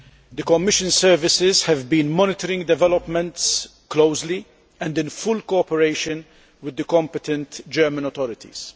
The Commission services have been monitoring developments closely and in full cooperation with the competent German authorities.